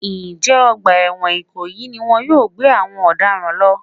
Ǹjẹ́ ọgbà ẹ̀wọ̀n ìkòyí ni wọn yóò gbé àwọn ọ̀daràn lọ?